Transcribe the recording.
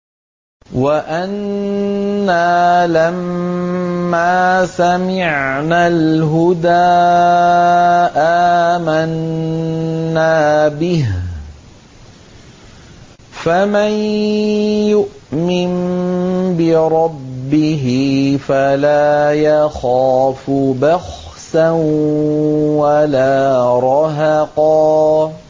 وَأَنَّا لَمَّا سَمِعْنَا الْهُدَىٰ آمَنَّا بِهِ ۖ فَمَن يُؤْمِن بِرَبِّهِ فَلَا يَخَافُ بَخْسًا وَلَا رَهَقًا